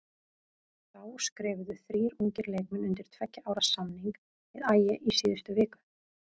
Þá skrifuðu þrír ungir leikmenn undir tveggja ára samning við Ægi í síðustu viku.